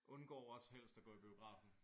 Undgår også helst at gå i biografen